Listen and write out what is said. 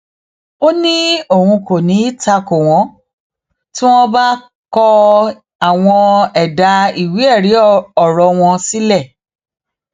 ó ní òun kò ní í ta kò wọn tí wọn bá kọ àwọn ẹdà ìwéẹrí ọrọ wọn sílẹ